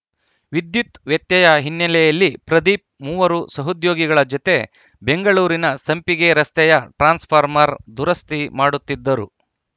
ವಿದ್ಯುತ್‌ ವ್ಯತ್ಯಯ ಹಿನ್ನೆಲೆಯಲ್ಲಿ ಪ್ರದೀಪ್‌ ಮೂವರು ಸಹೋದ್ಯೋಗಿಗಳ ಜತೆ ಬೆಂಗಳೂರಿನ ಸಂಪಿಗೆ ರಸ್ತೆಯ ಟ್ರಾನ್ಸ್‌ ಫಾಮ್‌ರ್‍ ದುರಸ್ತಿ ಮಾಡುತ್ತಿದ್ದರು